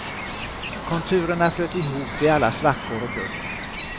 Konturerna flöt ihop vid alla svackor och gupp.